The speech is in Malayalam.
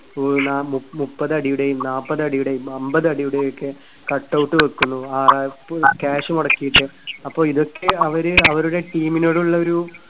ആഹ് ന്നാ മു~മുപ്പത് അടിയുടെയും നാപ്പത് അടിയുടെയും അമ്പത് അടിയുടെയും ഒക്കെ cut out വയ്ക്കുന്നു. cash മുടക്കിയിട്ട്. അപ്പോ ഇതൊക്കെ അവര് അവരുടെ team നോടുള്ളൊരു